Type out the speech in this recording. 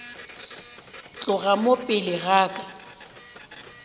tloga mo pele ga ka